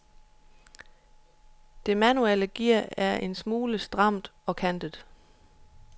Det manuelle gear er en smule stramt og kantet.